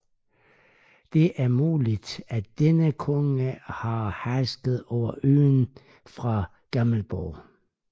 Det er muligt at denne konge har hersket over øen fra Gamleborg